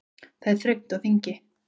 Það er þröngt á þingi